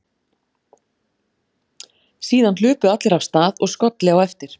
Síðan hlupu allir af stað og skolli á eftir.